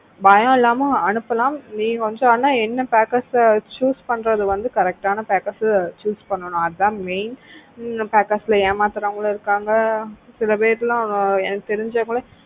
பயம் இல்லாம அனுப்பலாம் நீ once ஆனா என்ன packers choose பண்றது வந்து correct ஆனா packers choose பண்ணனும் அதான் main packers ல ஏமாத்துறவங்களும் இருக்குறாங்க சில பேர் எல்லாம் எனக்கு தெரிஞ்சவங்களே